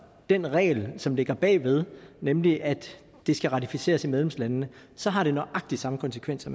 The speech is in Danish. den regel som ligger bag ved nemlig at det skal ratificeres af medlemslandene så har det nøjagtig samme konsekvenser